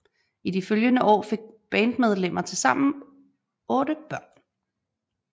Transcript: I de følgende år fik bandmedlemmer tilsammen otte børn